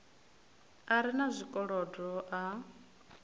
a re na zwikolodo a